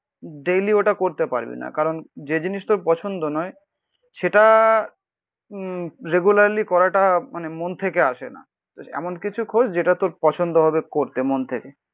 Daily ওটা করতে পারবে না. কারণ যে জিনিস তোর পছন্দ নয় সেটা উম রেগুলারলি করাটা মানে মন থেকে আসে না এমন কিছু খোঁজ যেটা তোর পছন্দ হবে করতে মন থেকে